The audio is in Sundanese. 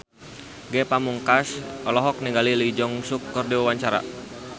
Ge Pamungkas olohok ningali Lee Jeong Suk keur diwawancara